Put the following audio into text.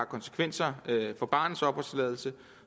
konsekvenser for barnets opholdstilladelse